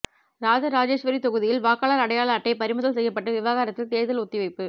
ராஜ ராஜேஸ்வரி தொகுதியில் வாக்காளர் அடையாள அட்டை பறிமுதல் செய்யப்பட்ட விவகாரத்தில் தேர்தல் ஒத்திவைப்பு